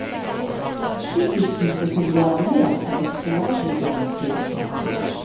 Fritidshuset fungerer mer som et forebyggende tiltak.